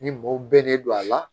Ni maaw bɛɛ de don a la